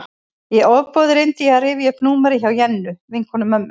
Í ofboði reyndi ég að rifja upp númerið hjá Jennu, vinkonu mömmu.